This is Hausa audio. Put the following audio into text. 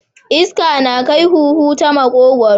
Iska na kai huhu ta makogwaro.